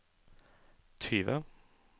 tyve